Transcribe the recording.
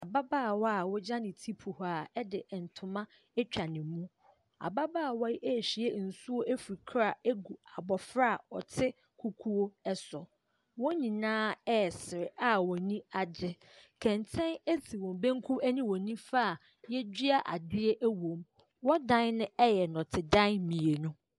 Ababaawa a wagya ne ti kuhaa de ntoma atwa ne mu. Ababaawa yi rehwie nsuo afiri kora agu abɔfra a ɔte kukuo so. Wɔn nyinaa resere a wɔn ani agye, kɛntɛn si wɔn benkum ne wɔn nifa a wɔadua adeɛ wom. Wɔn dan no yɛ nnɔtedan mmienu.